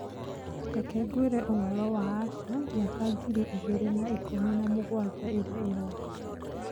Reke ngwĩre ũhoro wa asha mĩaka ngiri igĩrĩ na ikũmi na mũgwanja ĩrĩa ĩroka.